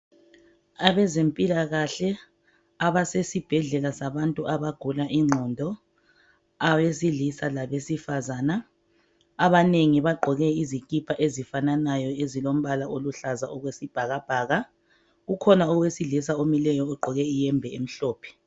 Abezempilakahle abasesibhedlela sabantu abagula ingqondo , abesilisa labesifazana. Abanengi bagqoke izikhipha ezifananayo ezilombala oluhlaza okwesibhakabhaka. Kukhona owesilisa omileyo ogqoke ihembe emhlophe.